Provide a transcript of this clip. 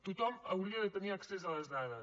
tothom hauria de tenir accés a les dades